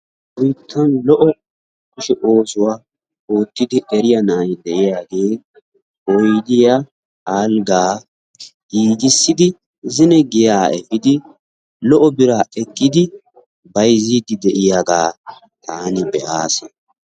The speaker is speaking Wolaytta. Nu biittan lo"o kushshe oosuwa ottidi eriya na'aay de'yaagge oydiyaa, alggaa giigisidi zinno giyaa efiiddi lo"o biraa ekkidi baayzidi de'yagga taani be'as.